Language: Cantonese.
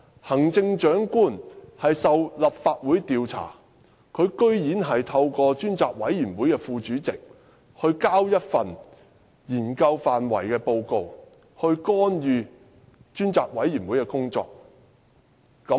行政長官受立法會調查，竟然透過專責委員會副主席提交一份研究範圍文件，以干預專責委員會的工作。